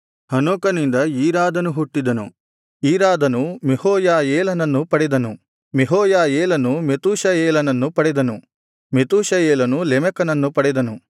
ಹನೋಕನಿಂದ ಈರಾದನು ಹುಟ್ಟಿದನು ಈರಾದನು ಮೆಹೂಯಾಯೇಲನನ್ನು ಪಡೆದನು ಮೆಹೂಯಾಯೇಲನು ಮೆತೂಷಾಯೇಲನನ್ನು ಪಡೆದನು ಮೆತೂಷಾಯೇಲನು ಲೆಮೆಕನನ್ನು ಪಡೆದನು